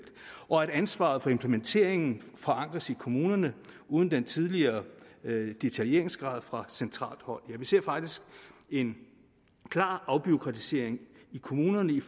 og ansvaret for implementeringen forankres i kommunerne uden den tidligere detaljeringsgrad fra centralt hold ja vi ser faktisk en klar afbureaukratisering i kommunerne i